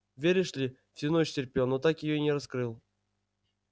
веришь ли всю ночь терпел но так её и не раскрыл